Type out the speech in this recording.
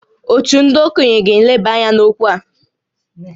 Òtù ndị okenye ga-eleba anya n’okwu a